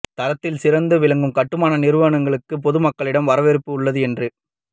தரத்தில் சிறந்து விளங்கும் கட்டுமான நிறுவனங்களுக்கு பொதுமக்களிடம் வரவேற்பு உள்ளது என்று